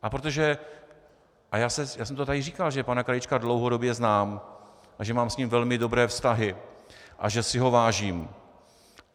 A protože - a já jsem to tady říkal, že pana Krajíčka dlouhodobě znám a že mám s ním velmi dobré vztahy a že si ho vážím.